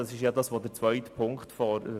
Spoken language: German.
Das ist es, was Ziffer 2 fordert.